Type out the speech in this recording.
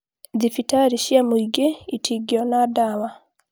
thibitarĩ cia mũingĩ itingĩona ndawa